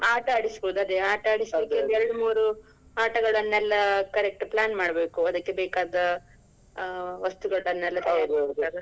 ಆಟ ಆಡಿಸ್ಬಹುದು ಅದೇ. ಆಟ ಎರಡ್ ಮೂರ್ ಆಟಗಳನ್ನೆಲ್ಲ correct plan ಮಾಡ್ಬೇಕು ಅದಕ್ಕೆ ಬೇಕಾದ ಆ ವಸ್ತುಗಳನ್ನೆಲ್ಲ .